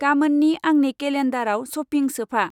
गामोननि आंनि केलेन्डाराव सपिं सोफा।